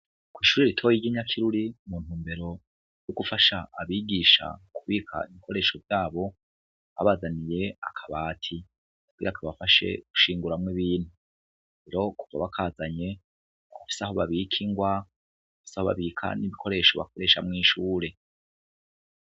Kw'ishure ritoyi ry'i Nyakiruri, muntumbero yo gufasha abigisha kubika ibikoresho vyabo, babazaniye akabati kugira kabafashe gushinguramwo ibintu, rero kuva bakazanye barafise aho babika ingwa, barafise aho babika ibikoresho bakoresha mw'ishure.